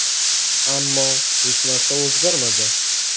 Ammo hech narsa o‘zgarmadi.